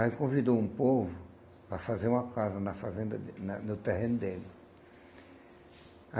Aí convidou um povo para fazer uma casa na fazenda de na no terreno dele.